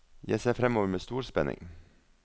Jeg ser fremover med stor spenning.